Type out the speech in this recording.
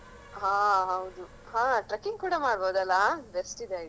ಹಾ ಹೌದು ಹಾ trekking ಕೂಡ ಮಾಡ್ಬೋದಲ್ಲ best ಇದೆ idea .